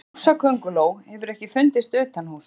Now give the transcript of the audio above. Húsakönguló hefur ekki fundist utanhúss.